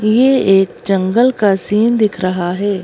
ये एक जंगल का सीन दिख रहा है।